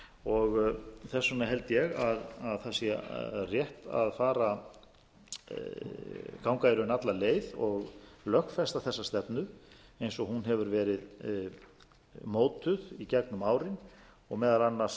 og þess vegna held ég að það sé rétt að ganga í raun alla leið og lögfesta þessa stefnu eins og hún hefur verið mótuð í gegnum árin og meðal annars